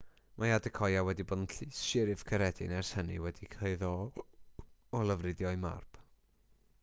mae adekoya wedi bod yn llys siryf caeredin ers hynny wedi'i chyhuddo o lofruddio'i mab